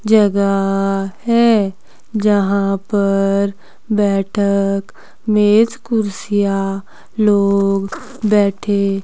जगह है जहां पर बैठक मेज कुर्सियां लोग बैठे--